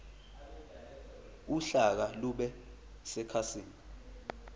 uhlaka lube sekhasini